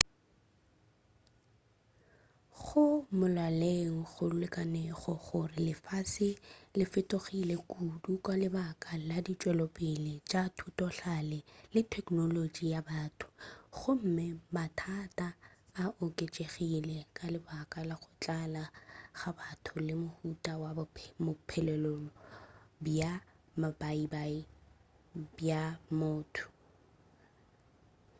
go molaleng go lekanego gore lefase le fetogile kudu ka lebaka la ditšwelopele tša thutohlale le teknolotši ya batho gomme mathata a oketšegile ka lebaka la go tlala ga batho le mohuta wa bophelelo bja mabaibai bja motho